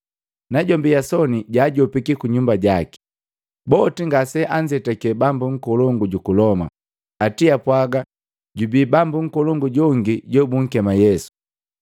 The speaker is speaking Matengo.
Najombi Yasoni jaajopiki ku nyumba jaki. Boti ngase anzetake bambu nkolongu juku Loma, ati apwaga, “Jubi bambu nkolongu jongi jobunkema Yesu.”